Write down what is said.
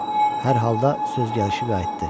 Hər halda söz gəlişi qayıtdı.